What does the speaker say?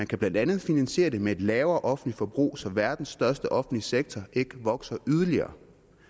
kan blandt andet finansieres med et lavere offentligt forbrug så verdens største offentlige sektor ikke vokser yderligere